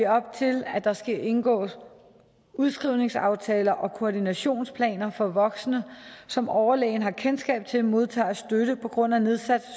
op til at der skal indgås udskrivningsaftaler og koordinationsplaner for voksne som overlægen har kendskab til modtager støtte på grund af nedsat